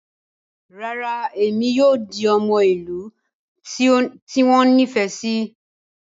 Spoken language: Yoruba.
Rara, Emi kii yoo di ọmọ ilu ti o nifẹ si